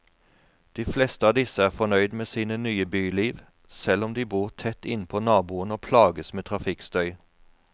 De fleste av disse er fornøyd med sine nye byliv, selv om de bor tett innpå naboen og plages med trafikkstøy.